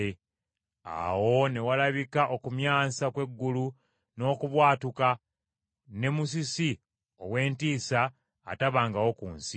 Awo ne walabika okumyansa kw’eggulu n’okubwatuka ne musisi ow’entiisa atabangawo ku nsi.